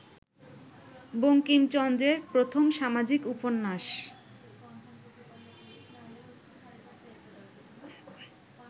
বঙ্কিমচন্দ্রের প্রথম সামাজিক উপন্যাস